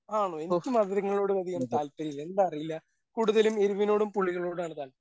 ആണോ എനിക്ക് മധുരങ്ങളോട് അധികം താല്പര്യമില്ല എന്താന്നറിയില്ല കൂടുതലും എരുവിനോടും പുളികളോടും ആണ് താല്പര്യം.